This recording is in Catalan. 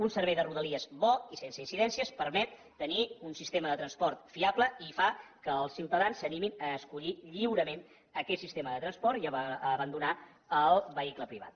un servei de rodalies bo i sense incidències permet tenir un sistema de transport fiable i fa que els ciutadans s’animin a escollir lliurement aquest sistema de transport i a abandonar el vehicle privat